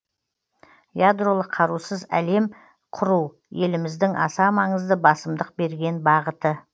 ядролық қарусыз әлем құру еліміздің аса маңызды басымдық берген бағыты